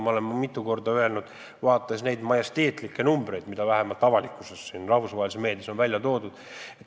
Me oleme seda mitu korda öelnud, vaadates neid majesteetlikke numbreid, mis avalikkuses, ka rahvusvahelises meedias on välja toodud.